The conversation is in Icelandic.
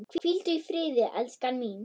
Hvíldu í friði, elskan mín.